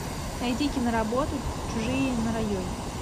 найди киноработу чужие на районе